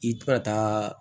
I tɛ ka taa